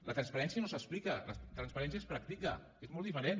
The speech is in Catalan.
la transparència no s’explica la transparència es practica és molt diferent